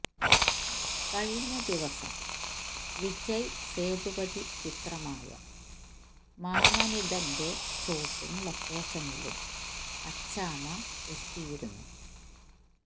കഴിഞ്ഞ ദിവസം വിജയ് സേതുപതി ചിത്രമായ മാമനിതെന്റ ഷൂട്ടിങ് ലൊക്കേഷനിലും അച്ചാമ്മ എത്തിയിരുന്നു